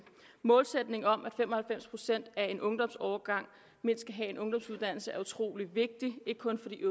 målsætningen om at fem og halvfems procent af en ungdomsårgang skal have mindst en ungdomsuddannelse er utroligt vigtig ikke kun for de